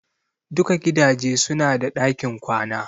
Duka gidaje su na da ɗakin kwana